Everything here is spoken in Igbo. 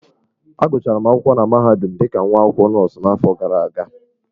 Agụchara m akwụkwọ na mahadum dị ka nwa akwụkwọ nọọsụ n'afọ gara aga.